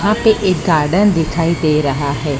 यहां पे एक गार्डन दिखाई दे रहा है।